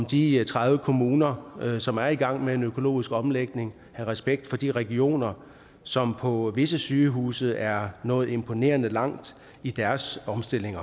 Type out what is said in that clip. de tredive kommuner som er i gang med en økologisk omlægning have respekt for de regioner som på visse sygehuse er nået imponerende langt i deres omstilling